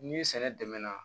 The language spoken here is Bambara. Ni sɛnɛ dɛmɛnɛna